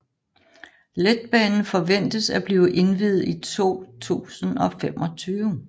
Letbanen forventes at blive indviet i 2025